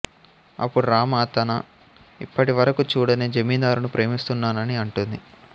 అప్పుడు రామ తను ఇప్పటివరకూ చూడని జమీందారును ప్రేమిస్తున్నానని అంటుంది